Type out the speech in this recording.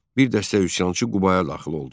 Bir dəstə üsyançı Qubaya daxil oldu.